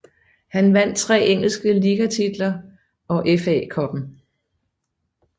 Han vandt tre engelske ligatitler og FA Cupen